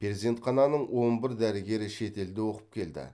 перзенхананың он бір дәрігері шетелде оқып келді